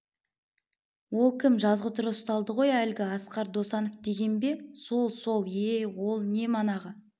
ол кім жазғытұры ұсталды ғой әлгі асқар досанов деген бе сол сол ие ол не манағы